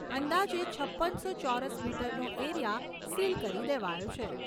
અંદાજે છપ્પનસો ચોરસ કિલોમીટરનો એરીયા સીલ કરી દેવાયો છે.